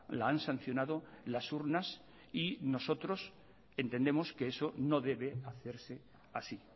la han sancionado las urnas y nosotros entendemos que eso no debe hacerse así